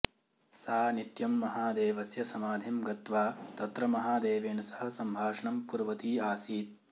सा नित्यं महादेवस्य समाधिं गत्वा तत्र महादेवेन सह सम्भाषणं कुर्वती आसीत्